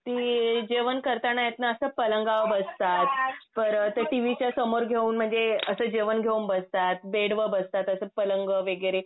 ती जेवण करताना येत ना असं पलंगावर बसतात परत ते टीव्ही च्या समोर घेऊन म्हणजे असं जेवण घेऊन बसतात, बेडवर बसतात असं पलंगावर वगैरे.